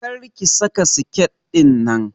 Kar ki saka siket ɗinnan!